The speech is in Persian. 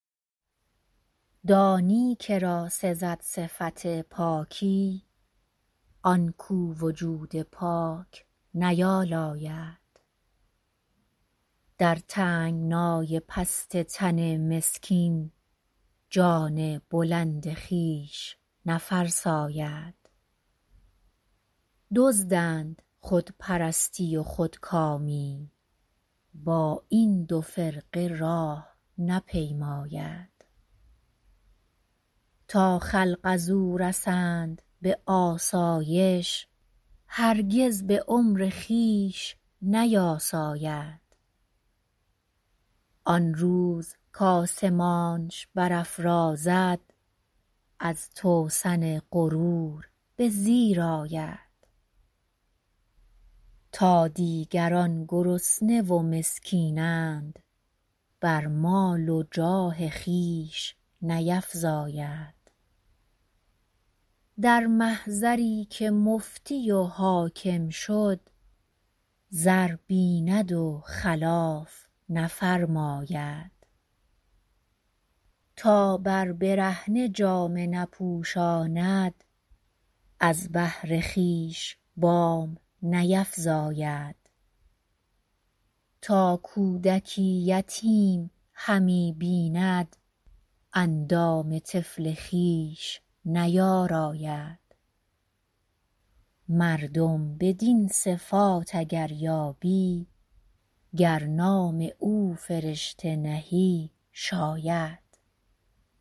دانی که را سزد صفت پاکی آنکو وجود پاک نیالاید در تنگنای پست تن مسکین جان بلند خویش نفرساید دزدند خود پرستی و خودکامی با این دو فرقه راه نپیماید تا خلق ازو رسند به آسایش هرگز به عمر خویش نیاساید آنروز کآسمانش برافرازد از توسن غرور بزیر آید تا دیگران گرسنه و مسکینند بر مال و جاه خویش نیفزاید در محضری که مفتی و حاکم شد زر بیند و خلاف نفرماید تا بر برهنه جامه نپوشاند از بهر خویش بام نیفراید تا کودکی یتیم همی بیند اندام طفل خویش نیاراید مردم بدین صفات اگر یابی گر نام او فرشته نهی شاید